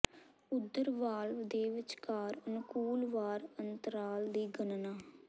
ਓਧਰ ਵਾਲਵ ਦੇ ਵਿਚਕਾਰ ਅਨੁਕੂਲ ਵਾਰ ਅੰਤਰਾਲ ਦੀ ਗਣਨਾ